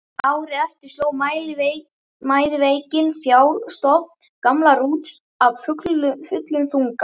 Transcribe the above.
Árið eftir sló mæðiveikin fjárstofn gamla Rúts af fullum þunga.